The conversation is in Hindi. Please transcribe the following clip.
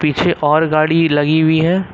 पीछे और गाड़ी लगी हुई है।